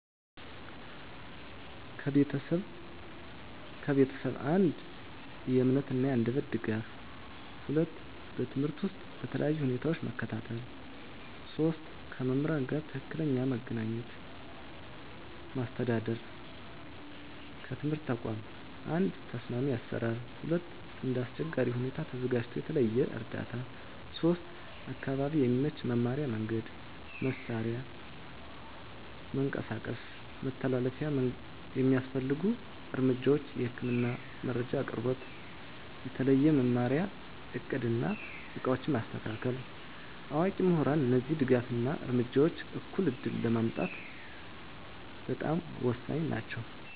ከቤተሰብ፦ 1. የእምነት እና የአንደበት ድጋፍ 2. በትምህርት ውስጥ በተለያዩ ሁኔታዎች መከታተል 3. ከመምህራን ጋር ትክክለኛ መገናኘት ማስተዳደር ከትምህርት ተቋም፦ 1. ተስማሚ አሰራር 2. እንደ አስቸጋሪ ሁኔታ ተዘጋጅቶ የተለየ እርዳታ 3. አካባቢ የሚመች መማሪያ መንገድ፣ መሳሪያ እና መንቀሳቀስ መተላለፊያ የሚያስፈልጉ እርምጃዎች፦ የህክምና መረጃ አቅርቦት፣ የተለየ መማሪያ እቅድ እና ዕቃዎች በማስተካከል፣ አዋቂ ምሁራን እነዚህ ድጋፍ እና እርምጃዎች እኩል ዕድል ለማምጣት በጣም ወሳኝ ናቸው።